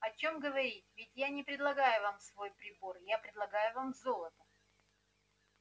о чем говорить ведь я не предлагаю вам свой прибор я предлагаю вам золото